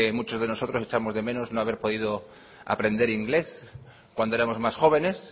muchos de nosotros echamos de menos no haber podido aprender inglés cuando éramos más jóvenes